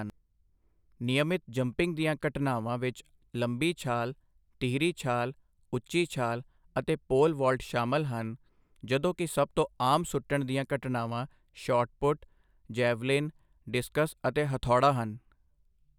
ਨਿਯਮਤ ਜੰਪਿੰਗ ਦੀਆਂ ਘਟਨਾਵਾਂ ਵਿੱਚ ਲੰਬੀ ਛਾਲ, ਤੀਹਰੀ ਛਾਲ, ਉੱਚੀ ਛਾਲ ਅਤੇ ਪੋਲ ਵਾਲਟ ਸ਼ਾਮਲ ਹਨ, ਜਦੋਂ ਕਿ ਸਭ ਤੋਂ ਆਮ ਸੁੱਟਣ ਦੀਆਂ ਘਟਨਾਵਾਂ ਸ਼ਾਟ ਪੁਟ, ਜੈਵਲਿਨ, ਡਿਸਕਸ ਅਤੇ ਹਥੌੜਾ ਹਨ।